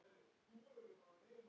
Hvernig var að keppa aftur?